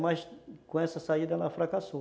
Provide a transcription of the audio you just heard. Mas com essa saída ela fracassou.